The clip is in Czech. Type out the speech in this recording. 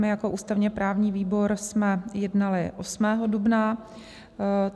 My jako ústavně-právní výbor jsme jednali 8. dubna.